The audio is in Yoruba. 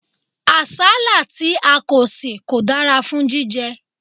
Àsálà tí a kò sè kò dára fún jíjẹ.